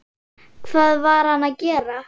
Hvað var hann að gera?